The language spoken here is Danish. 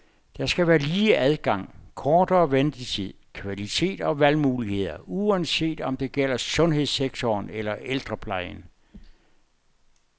Der skal være lige adgang, kortere ventetid, kvalitet og valgmuligheder, uanset om det gælder sundhedssektoren eller ældreplejen.